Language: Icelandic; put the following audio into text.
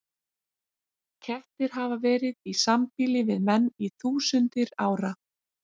Kettir hafa verið í sambýli við menn í þúsundir ára.